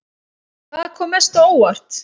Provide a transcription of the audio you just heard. Hvað kom mest á óvart?